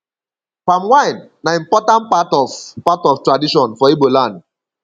palm wine na important part of part of tradition for ibo land